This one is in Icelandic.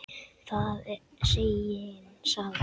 Það er segin saga.